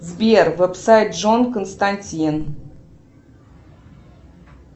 сбер вебсайт джон константин